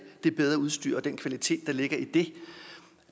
det bedre udstyr og den kvalitet der ligger i